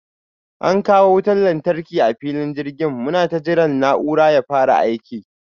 An kawo wutan lantarki a filin jirgin, munata jiran na'urar ya fara aiki.